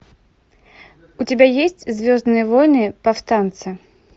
у тебя есть звездные войны повстанцы